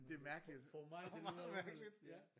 Det er mærkeligt og meget mærkeligt ja